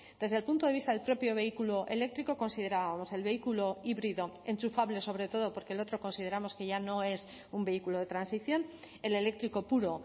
desde el punto de vista del propio vehículo eléctrico considerábamos el vehículo híbrido enchufable sobre todo porque el otro consideramos que ya no es un vehículo de transición el eléctrico puro